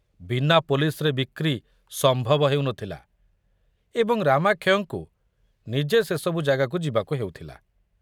ବିନା ପୋଲିସରେ ବିକ୍ରି ସମ୍ଭବ ହେଉ ନ ଥିଲା ଏବଂ ରାମାକ୍ଷୟଙ୍କୁ ନିଜେ ସେ ସବୁ ଜାଗାକୁ ଯିବାକୁ ହେଉଥିଲା।